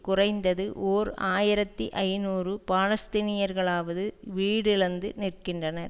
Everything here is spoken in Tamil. குறைந்தது ஓர் ஆயிரத்தி ஐநூறு பாலஸ்தீனியர்களாவது வீடிழந்து நிற்கின்றனர்